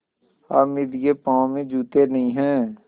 हामिद के पाँव में जूते नहीं हैं